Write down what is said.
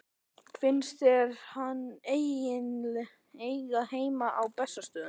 Finnst þér hann eiga heima á Bessastöðum?